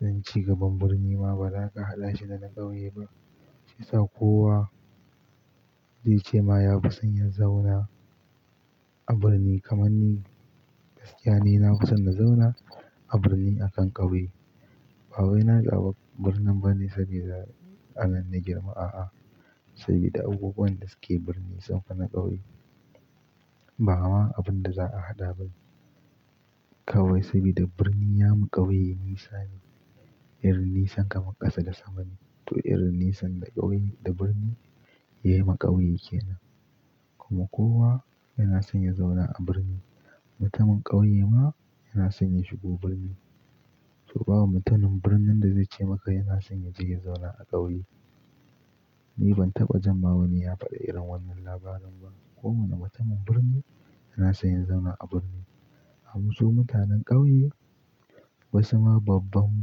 Nan cigaban birni ma ba za ka haɗa shi da na ƙauye ba. Shi yasa kowa zai ce ma ya fi son ya zauna a birni kamar ni. Gaskiya ni na fi son na zauna a birni akan ƙauye. Ba wai na ji abok birnin bane saboda anan na girma. A'a, saboda abubuwan da suke birni sun fi na ƙauye. Ba ma abin da za a haɗa bane kawai saboda birni ya ma ƙauye nisa ne. Irin nisan kamar ƙasa da sama ne. To irin nisan da ƙauye da birni ya yi ma ƙauye kenan. Kuma kowa yana son ya zauna a birni. Mutumin ƙauye ma yana son ya shigo birni. To ba mutumin birnin da zai ce maka yana son ya je ya zauna a ƙauye. Ni ban taɓa jan ma wani ya faɗi irin wannan labarin ba. Kowane mutumin birni yana son ya zauna a birni. Amma su mutanen ƙauye wasu ma babban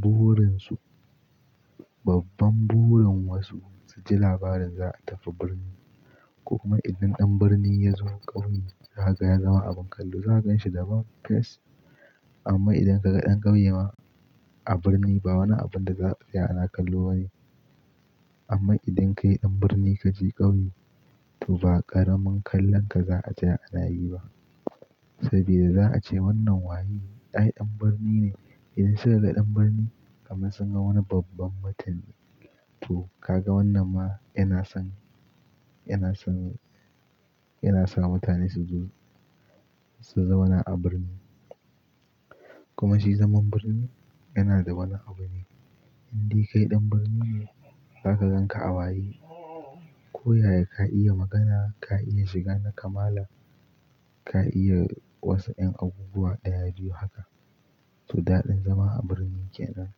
burin su, babban burin wasu su ji labarin za a tafi birni. Kuma idan ɗan birni ya zo ƙauye, za ka ga ya zama abin kallo. Za a ganshi da bad face. Amma idan ka ga ɗan ƙauye ma a birni ba wani abin da za a tsaya ana kallo bane. Amma idan kai ɗan birni ka je ƙauye to ba ƙaramin kallon ka za a ja ana yi ba saboda za a ce wannan waye? Ai ɗan birni ne. Idan suka ga ɗan birni kamar sun ga wani babban mutum. To ka ga wannan ma yana son, yana son, yana sa mutane su zo su zauna a birni. Kuma shi zaman birni yana da wani abu ne. Indai kai ɗan birni ne za ka gan ka awayi. Koyaya ka iya magana, ka iya shiga nakamala, ka iya wasu ƴan abubuwa da ya biyu haka. To daɗin zama a birni kenan.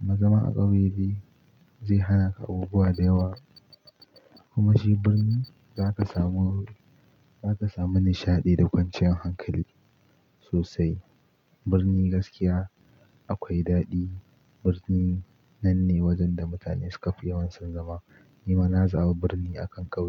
Amma zama a ƙauye dai zai hana ka abubuwa da yawa. Kuma shi birni za ka samu, za ka samu nishaɗi da kwanciyar hankali sosai. Birni gaskiya akwai daɗi. Birni nan ne wajen da mutane suka fi yawan son zama. Ni ma na zaɓa birni akan ƙauye.